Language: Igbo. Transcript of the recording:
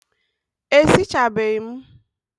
E sichabeghi m?